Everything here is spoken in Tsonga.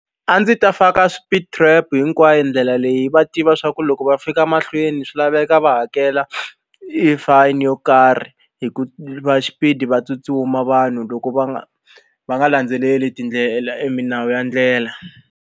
A ndzi ta faka speed trap hinkwayo ndlela leyi va tiva swa ku loko va fika mahlweni swi laveka va hakela e fine yo karhi hikuva xipidi va tsutsuma vanhu loko va nga va nga landzeleli tindlela i milawu ya ndlela.